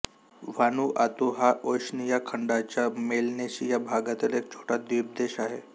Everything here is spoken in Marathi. व्हानुआतू हा ओशनिया खंडाच्या मेलनेशिया भागातील एक छोटा द्वीपदेश आहे